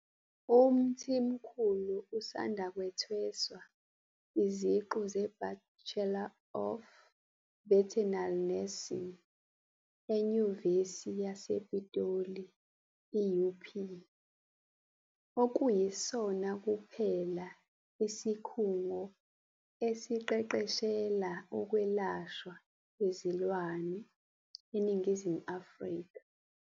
UMthimkhulu usanda kuthweswa iziqu zeBachelor of Veternary Nursing eNyuvesi yasePitoli, i-UP, okuyisona kuphela isikhungo esiqeqeshela ukwelashwa kwezilwane eNingizimu Afrika.